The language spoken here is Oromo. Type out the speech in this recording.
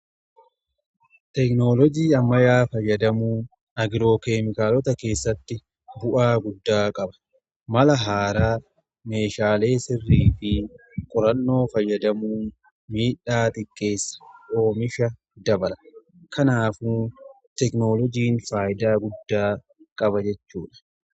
Teknoolojii ammayaa fayyadamuu agiroo keemikaalota keessatti bu'aa guddaa qaba. Mala haaraa meeshaalee sirrii fi qorannoo fayyadamuu miidhaa xiqqeessa, oomisha dabala. Kanaaf teknoolojiin faayidaa guddaa qaba jechuudha.